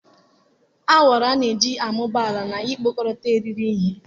awara a na-eji amụba ala na ikpokọta irighiri ihe.